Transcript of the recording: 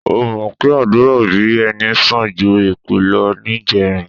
O ò mọ̀ pé àdúrà òbí ẹni sàn ju èpè lọ níjẹrin?